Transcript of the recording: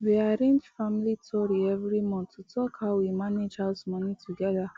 we arrange family tori every month to talk how we mange house money together